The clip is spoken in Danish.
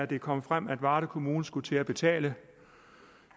det kom frem at varde kommune skulle til at betale